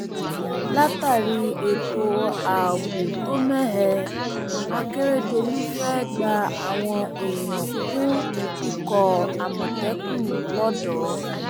látàrí ètò ààbò tó mẹhẹ àkẹrẹdọlù fẹẹ gba àwọn èèyàn kún ikọ àmọtẹkùn lọdọ